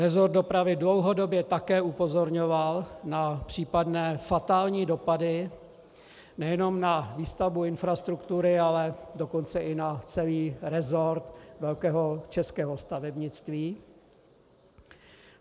Resort dopravy dlouhodobě také upozorňoval na případné fatální dopady nejenom na výstavbu infrastruktury, ale dokonce i na celý resort velkého českého stavebnictví.